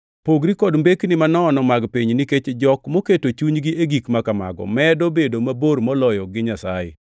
Pogri kod mbekni manono mag piny nikech jok moketo chunygi e gik ma kamago medo bedo mabor moloyo gi Nyasaye.